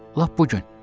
Lap bu gün.